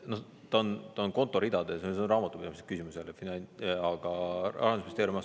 Ta on konto ridades, see on raamatupidamislik küsimus jälle, käibemaksuvahendeid hoitakse eraldi konto peal.